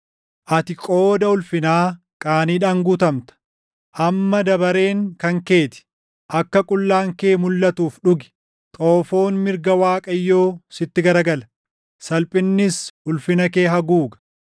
Ati qooda ulfinaa qaaniidhaan guutamta. Amma dabareen kan kee ti! Akka qullaan kee mulʼatuuf dhugi. Xoofoon mirga Waaqayyoo sitti garagala; salphinnis ulfina kee haguuga.